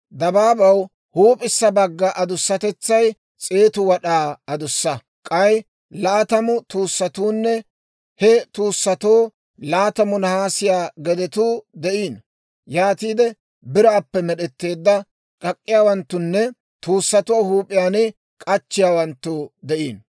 Dabaabaw huup'issa bagga adussatetsay s'eetu wad'aa adussa; k'ay laatamu tuussatuunne he tuussatoo laatamu nahaasiyaa gedetuu de'iino. Yaatiide biraappe med'etteedda kak'k'iyaawanttunne tuussatuwaa huup'iyaan k'achchiyaawanttu de'iino.